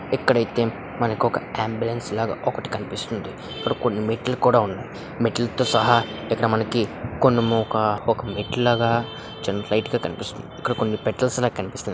ఇక్కడ అయితే మనకు ఒక అంబులెన్స్ లాగా ఒకటి కనిపిస్తోంది. ఇక్కడ కొన్ని మెట్లు కూడా ఉన్నాయి. మెట్ల తో సహా ఇక్కడ మనకి కొన్ని ముఖ ఒక మెట్లుగా చిన్న లైట్ గా కనిపిస్తుంది. ఇక్కడ కొన్ని పెట్టలేక కనిపిస్తుంది.